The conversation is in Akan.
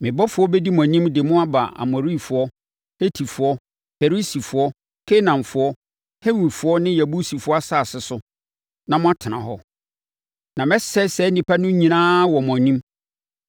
Me ɔbɔfoɔ bɛdi mo anim de mo aba Amorifoɔ, Hetifoɔ, Perisifoɔ, Kanaanfoɔ, Hewifoɔ ne Yebusifoɔ asase so na moatena hɔ. Na mɛsɛe saa nnipa no nyinaa wɔ mo anim.